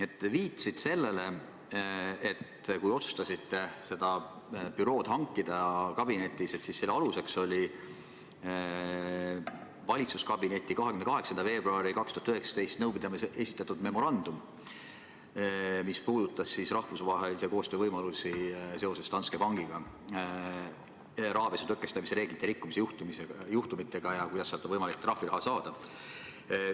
Sa viitasid sellele, et kui te otsustasite kabinetis selle büroo leida, siis selle aluseks oli valitsuskabineti 28. veebruari 2019 nõupidamisel esitletud memorandum, mis puudutas rahvusvahelise koostöö võimalusi seoses Danske Bankis rahapesu tõkestamise reeglite rikkumise juhtumitega ja lootust sealt trahviraha saada.